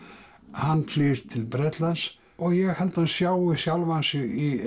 hann flýr til Bretlands og ég held hann sjái sjálfan sig í